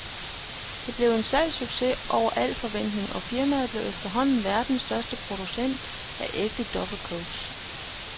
Det blev en salgssucces over al forventning, og firmaet blev efterhånden verdens største producent af ægte duffelcoats.